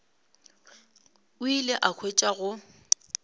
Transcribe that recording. o ile a hwetša go